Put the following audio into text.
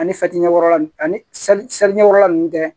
Ani ɲɛkɔrɔla ninnu ani ɲɛkɔrɔla ninnu tɛ